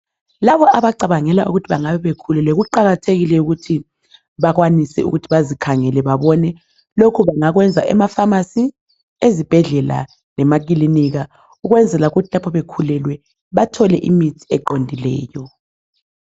Laba abacabangela ukuthi bengabe bekhulelwe kuqakathekile ukuthi bakwanise ukuthi bazikhangele babone. Lokhu bangakwenza emafamasi, ezibhedlela lema ekilinika ukwenzela ukuthi lapho bekhulelwe bathole imithi eqondileyo.